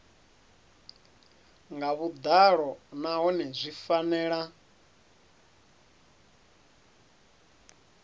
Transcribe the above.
nga vhuḓalo nahone zwi fanela